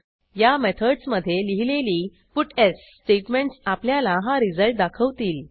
या मेथडस मधे लिहिलेली पट्स स्टेटमेंटस आपल्याला हा रिझल्ट दाखवतील